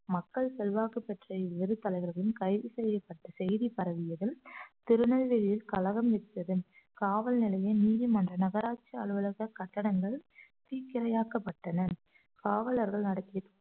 மக்கள் செல்வாக்கு பெற்ற இவ்விரு தலைவர்களும் கைது செய்யப்பட்ட செய்தி பரவியதில் திருநெல்வேலியில் கழகம் விற்றது காவல் நிலையம் நீதிமன்ற நகராட்சி அலுவலகம் கட்டிடங்கள் தீக்கிரையாக்கப்பட்டன காவலர்கள் நடத்திய